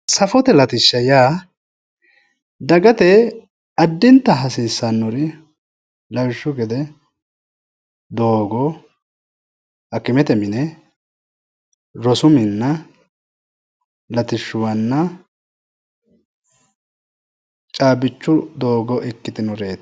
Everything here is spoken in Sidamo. safote latishsha yaa dagate addinta hasiisannori lawishshaho doogo fayyimmate mine rosu minna latishshuwanna caabbicho''oo labbannoreeti.